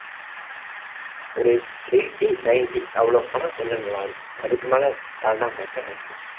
ஒரு eighty ninety அவ்வளவு போன கொஞ்சம் நல்லா இருக்கும் அதுக்கு மேல தாண்டாம இருந்தா okay